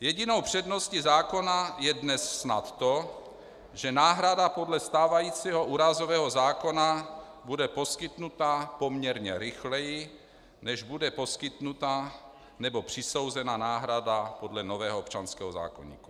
Jedinou předností zákona je dnes snad to, že náhrada podle stávajícího úrazového zákona bude poskytnuta poměrně rychleji, než bude poskytnuta nebo přisouzena náhrada podle nového občanského zákoníku.